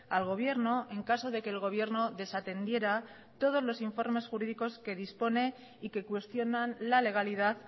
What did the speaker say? al gobierno en caso de que el gobierno desatendiera todos los informes jurídicos que dispone y que cuestionan la legalidad